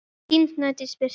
Þín Snædís Birta.